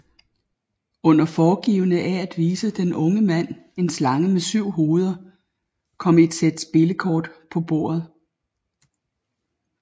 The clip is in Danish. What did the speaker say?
Under foregivende af at vise den unge mand en slange med syv hoveder kom et sæt spillekort på bordet